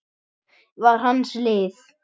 var hans lið.